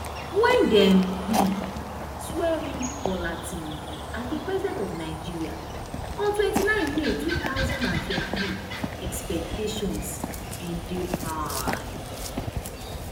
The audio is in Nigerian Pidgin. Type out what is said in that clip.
wen dem um swear in bola tinubu as di president of nigeria on twenty-nine may two thousand and twenty-three expectations bin dey high